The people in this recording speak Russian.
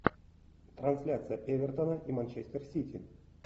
трансляция эвертона и манчестер сити